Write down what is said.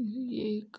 एक